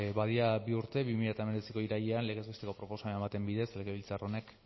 badira bi urte bi mila hemezortziko irailean legez besteko proposamen baten bidez legebiltzar honek